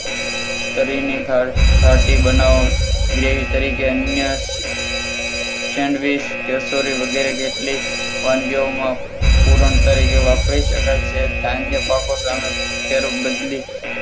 કરી કાઢી તરીકે અન્ય સેન્ડવીચ કે કચોરી જેવી કેટલીક વાનગીઓમાં પણ તરીકે વાપરી શકાય છે. ધાન્ય પાકો સામે ફેર બદલી